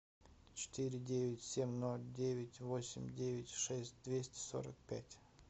четыре девять семь ноль девять восемь девять шесть двести сорок пять